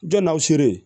Jɔn naw sere